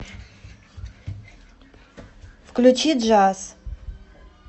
включи джаз